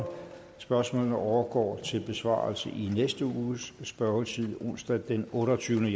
spørgsmålene overgår til besvarelse i næste uges spørgetid onsdag den otteogtyvende